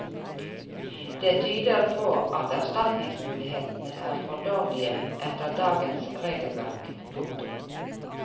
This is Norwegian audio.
Det tyder på at erstatningsmulighetene er for dårlige etter dagens regelverk. punktum